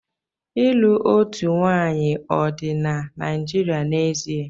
Ịlụ otu nwanyị ọ dị na Naịjirịa n'ezie?